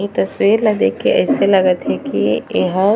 ए तस्वीर ला देख के अइसे लगत हे की एहा--